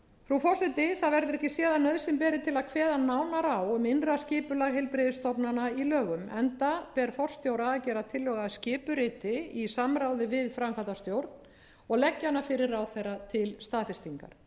frú forseti það verður ekki séð að nauðsyn beri til að kveða nánar á um innra skipulag heilbrigðisstofnana í lögum enda ber forstjóra að gera tillögu að skipuriti í samráði við framkvæmdastjórn og leggja hana fyrir ráðherra til staðfestingar